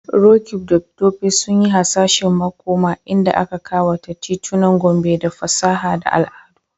Roqeeb da Tope sun yi hasashen makoma inda aka kawata titunan Gombe da fasaha da al'adu.